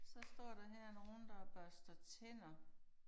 Så står der her nogen der børster tænder